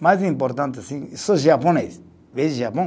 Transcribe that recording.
O mais importante, assim, sou japonês, vejo Japão.